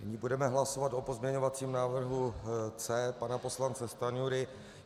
Nyní budeme hlasovat o pozměňovacím návrhu C pana poslance Stanjury.